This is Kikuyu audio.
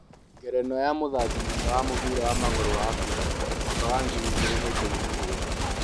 Ngerenwa ya mũthaki mwega wa mũbĩra wa magũrũ wa Afrika, mwaka wa ngiri igĩrĩ na ikũmi na mũgwanja